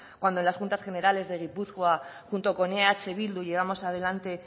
cuando en las juntas generales de gipuzkoa junto con eh bildu llevamos adelante